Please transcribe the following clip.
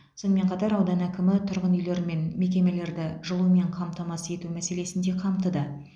сонымен қатар аудан әкімі тұрғын үйлер мен мекемелерді жылумен қамтамасыз ету мәселесін де қамтыды